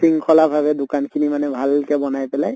শৃংখলা ভাবে দোকান খিনি মানে ভালকে বনাই পেলাই